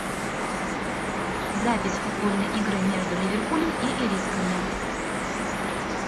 запись футбольной игры между ливерпулем и ирисками